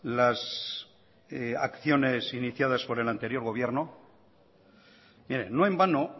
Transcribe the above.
las acciones iniciadas por el anterior gobierno mire no en vano